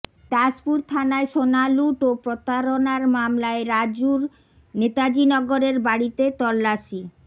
দাসপুর থানায় সোনা লুঠ ও প্রতারণার মামলায় রাজুর নেতাজিনগরের বাড়িতে তল্লাশি